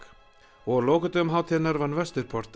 og á lokadögum hátíðarinnar vann Vesturport